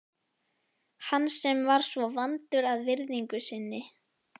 Hann sem var svo vandur að virðingu sinni.